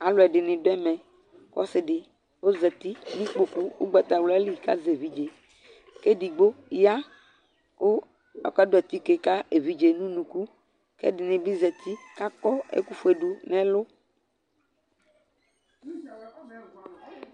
Alʋɛdɩnɩ dʋ ɛmɛ kʋ ɔsɩ dɩ ɔzati nʋ ikpoku ʋgbatawla li kʋ azɛ evidze kʋ edigbo ya kʋ ɔkadʋ atike ka evidze yɛ nʋ unuku kʋ ɛdɩnɩ zati kʋ akɔ ɛkʋfue dʋ ɛlʋ